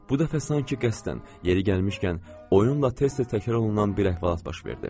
Bu dəfə sanki qəsdən, yeri gəlmişkən, oyunla tez-tez təkrarlanan bir əhvalat baş verdi.